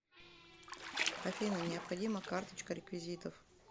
афина необходима карточка реквизитов